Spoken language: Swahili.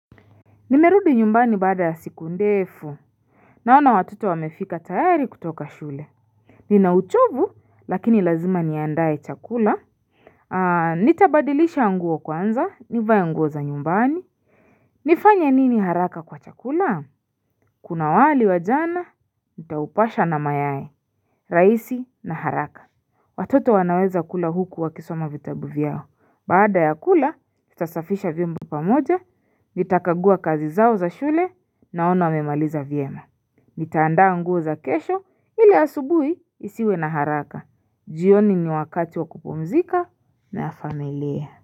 Nimerudi nyumbani baada ya siku ndefu Naona watoto wamefika tayari kutoka shule Ninauchovu lakini lazima niandae chakula Ah nitabadilisha nguo kwanza nivaea nguo za nyumbani nifanya nini haraka kwa chakula Kuna wali wa jana nitaupasha na mayai raisi na haraka Watoto wanaweza kula huku wakisoma vitabu vyao Baada ya kula, nitasafisha vyombo pamoja, nitakagua kazi zao za shule, naono wamemaliza vyema. Nitaandaa nguo za kesho, ili asubuhi isiwe na haraka. Jioni ni wakati wa kupumzika na ya familia.